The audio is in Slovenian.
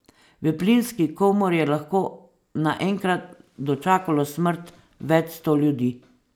V plinski komori je lahko naenkrat dočakalo smrt več sto ljudi.